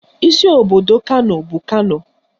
Isi obodo Kano bụ Kano